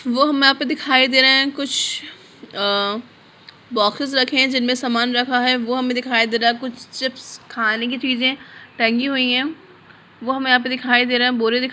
वह मैप दिखाई दे रहे हैं | कुछ अ बॉक्सेस रखे हैं जिनमें सामान रहा हैं वो हमें दिखाई दे रहा है | कुछ चिप्स खाने की चीज़ें टंगी हुई है वो हमें दिखाई दे रहा है | बोरे दिख --